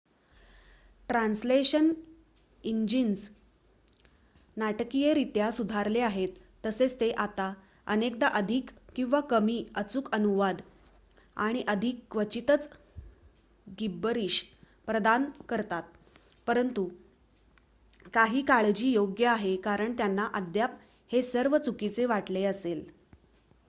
translation engines नाटकीयरित्या सुधारले आहेत तसेच ते आता अनेकदा अधिक किंवा कमी अचूक अनुवाद आणि अधिक क्वचितच गिब्बरीश प्रदान करतात परंतु काही काळजी योग्य आहे कारण त्यांना अद्याप हे सर्व चुकीचे वाटले असेल